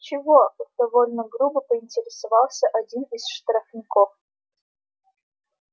чего довольно грубо поинтересовался один из штрафников